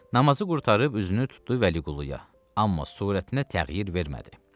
Namazı qurtarıb üzünü tutdu Vəliquluya, amma surətinə təğyir vermədi.